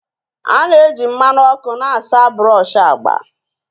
A na-eji mmanụ ọkụ na-asa brush agba